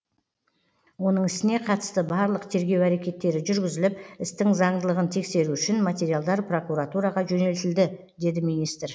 оның ісіне қатысты барлық тергеу әрекеттері жүргізіліп істің заңдылығын тексеру үшін материалдар прокуратураға жөнелтілді деді министр